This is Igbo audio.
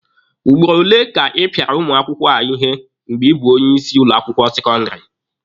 Ugboro ole ka ị pịara ụmụ akwụkwọ ihe mgbe ị bụ onye isi ụlọ akwụkwọ sekọndịrị?